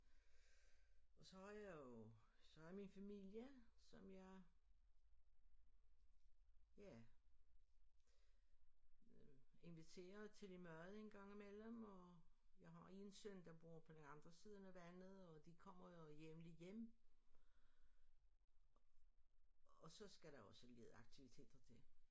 Og så har jeg jo så er min familie som jeg ja inviterer til lidt mad en gang imellem og jeg har en søn der bor på den anden siden af vandet og de kommer jo jævnligt hjem og så skal der også lidt aktiviteter til